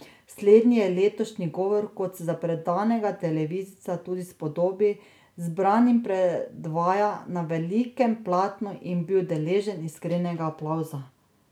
Slednji je letošnji govor, kot se za predanega televizijca tudi spodobi, zbranim predvajal na velikem platnu in bil deležen iskrenega aplavza.